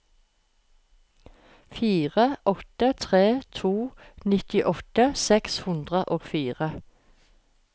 fire åtte tre to nittiåtte seks hundre og fire